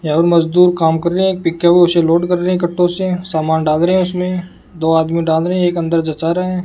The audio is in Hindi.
यह मजदूर काम कर रहे है पिकाबू से लोड कर रहे है कट्टो से समान डाल रहे हैं उसमें दो आदमी डाल रहे है एक अंदर जचा रहा है।